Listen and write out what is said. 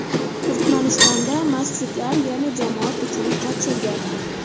Turkmanistonda masjidlar yana jamoat uchun ochildi.